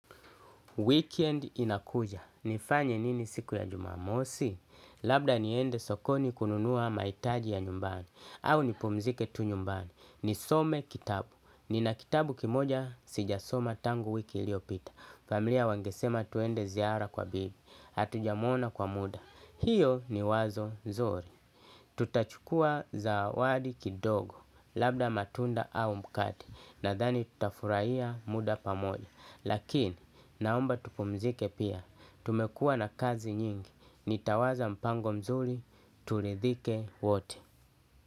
Weekend inakuja. Nifanye nini siku ya jumamosi? Labda niende sokoni kununua mahitaji ya nyumbani. Au nipumzike tu nyumbani. Nisome kitabu. Nina kitabu kimoja sijasoma tangu wiki iliyopita. Familia wangesema tuende ziara kwa bibi. Hatujamuona kwa muda. Hiyo ni wazo nzuri. Tutachukua zawadi kidogo labda matunda au mkate nadhani tutafurahia muda pamoja. Lakini naomba tupumzike pia tumekuwa na kazi nyingi. Nitawaza mpango mzuri turidhike wote.